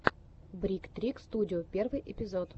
брик трик студио первый эпизод